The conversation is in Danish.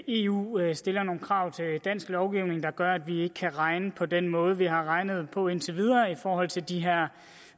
eu eu stiller nogle krav til dansk lovgivning der gør at vi ikke kan regne på den måde vi har regnet på indtil nu i forhold til de her